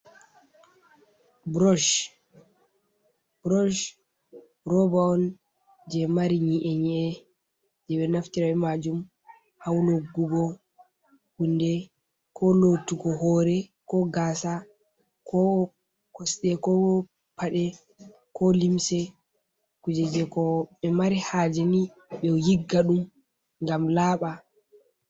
Burush roba on je mari nyi’e ny’e je be naftirta majum ha wunugugo hunɗe ko lottugo hore ko gasa. ko kosɗe ko paɗe ko limse. kuje je ko be mari hajeni be yigga ɗum gam laba.